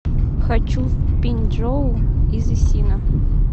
хочу в биньчжоу из исина